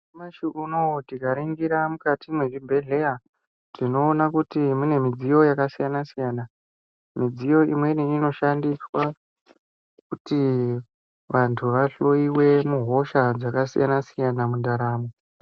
Nyamushi unou tikaringira mukati mezvibhedhlera, tinoona kuti mune midziyo yakasiyana-siyana. Midziyo imweni inoshandiswa kuti vantu vahloyiwe muhosha dzakasiyana-siyana mundaramo.